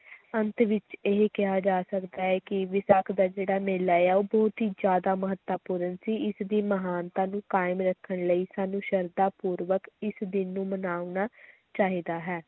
ਅੰਤ ਵਿਚ ਇਹ ਕਿਹਾ ਜਾ ਸਕਦਾ ਹੈ ਕਿ ਵਿਸਾਖ ਦਾ ਜਿਹੜਾ ਮੇਲਾ ਹੈ ਉਹ ਬਹੁਤ ਹੀ ਜ਼ਿਆਦਾ ਮਹੱਤਵਪੂਰਨ ਸੀ, ਇਸਦੀ ਮਹਾਨਤਾ ਨੂੰ ਕਾਇਮ ਰੱਖਣ ਲਈ ਸਾਨੂੰ ਸਰਧਾਂ ਪੂਰਵਕ ਇਸ ਦਿਨ ਨੂੰ ਮਨਾਉਣਾ ਚਾਹੀਦਾ ਹੈ।